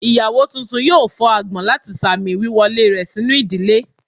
Iyawo tuntun yóò fó agbon lati sámísi wiwọle rẹ sinu ìdílé.